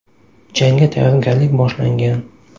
Jangga tayyorgarlik boshlangan.